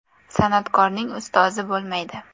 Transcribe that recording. San’atkorning ustozi bo‘lmaydi.